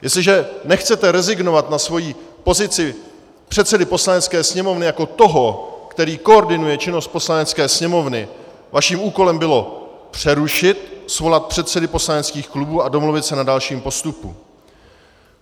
Jestliže nechcete rezignovat na svoji pozici předsedy Poslanecké sněmovny jako toho, který koordinuje činnost Poslanecké sněmovny, vaším úkolem bylo přerušit, svolat předsedy poslaneckých klubů a domluvit se na dalším postupu.